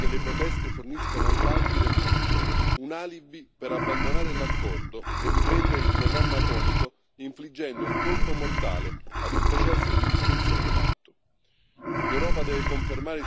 C'è tuttavia il pericolo che le proteste forniscano ai falchi del regime un alibi per abbandonare l'accordo e riprendere il programma atomico, infliggendo un colpo mortale a un processo di distensione in atto.